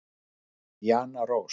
Jana Rós.